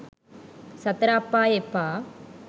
සතර අපාය එපා